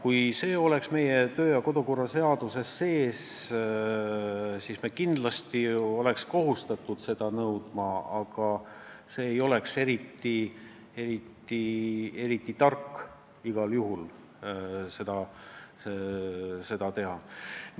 Kui see oleks meie kodu- ja töökorra seaduses sees, siis me oleks kohustatud seda nõudma, aga see ei oleks eriti tark seda alati teha.